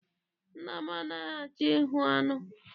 Nna m anaghị achọ ịhụ aṅụ.